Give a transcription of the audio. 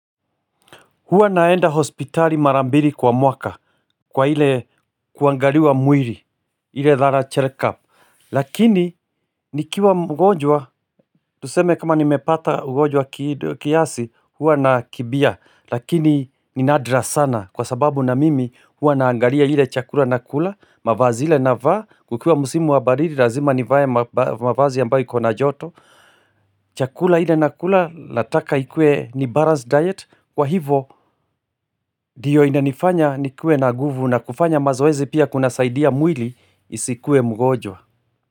Huwa naenda hospitali mara mbiri kwa mwaka. Kwa ile kuangaliwa mwiri ile thorough check up. Lakini nikiwa mgonjwa. Tuseme kama nimepata ugonjwa kiasi huwa nakibia. Lakini ni nadra sana. Kwa sababu na mimi huwa naangalia ile chakula nakula. Mavazi ile navaa. Kukiwa msimu wa baridi razima nivae mavazi ambayo iko na joto. Chakula ile nakula nataka ikue ni balanced diet kwa hivo dio inanifanya nikuwe na guvu na kufanya mazoezi pia kunasaidia mwili isikuwe mgonjwa.